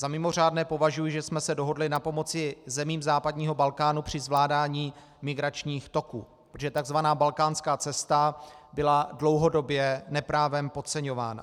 Za mimořádné považuji, že jsme se dohodli na pomoci zemím západního Balkánu při zvládání migračních toků, protože tzv. balkánská cesta byla dlouhodobě neprávem podceňována.